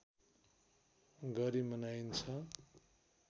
गरी मनाइन्छ